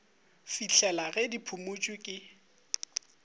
fihlela ge di phumotšwe ke